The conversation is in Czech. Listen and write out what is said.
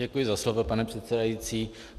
Děkuji za slovo, pane předsedající.